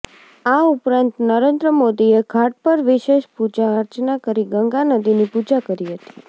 આ ઉપરાંત નરેન્દ્ર મોદીએ ઘાટ પર વિશેષ પૂજા અર્ચના કરી ગંગા નદીની પૂજા કરી હતી